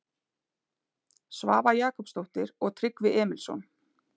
Svava Jakobsdóttir og Tryggvi Emilsson.